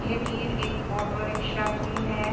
ये तीर एक ऑटो रिक्शा की है।